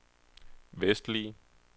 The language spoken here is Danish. vestlige